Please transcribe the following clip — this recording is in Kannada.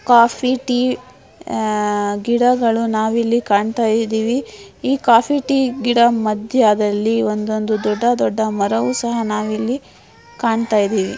ಕಾಫಿ-ಟೀ ಗಿಡಗಳು ನಾವಿಲ್ಲಿ ಕಾಣ್ತಾಇದಿವಿ. ಈ ಕಾಫಿ-ಟೀ ಗಿಡ ಮದ್ಯದಲ್ಲಿ ಒಂದ್ ಒಂದು ದೊಡ್ಡ ದೊಡ್ಡ ಮರಗಳನ್ನು ಸಹ ನಾವಿಲ್ಲಿ ಕಾಣ್ತಾಇದಿವಿ.